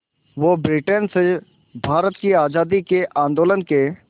वो ब्रिटेन से भारत की आज़ादी के आंदोलन के